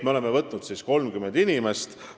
Me oleme vastu võtnud 30 inimest.